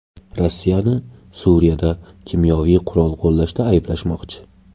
Rossiyani Suriyada kimyoviy qurol qo‘llashda ayblashmoqchi.